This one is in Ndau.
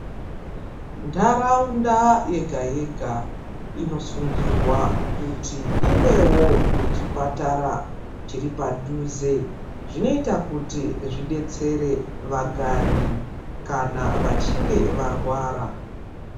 Ndaraunda yega yega inosungirwa kuti ivewo nechipatara chiripadhuze, zvinoita kuti zvidetsere vagari kana vachinge varwara.